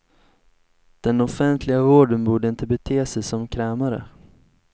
Den offentliga vården borde inte bete sig som krämare.